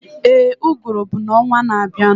Éè, uguru bụ ọnwaa na abianu